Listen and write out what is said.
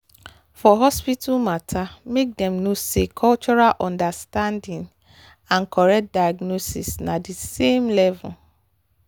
for hospital matter make dem know say cultural understanding and correct diagnosis na the same level.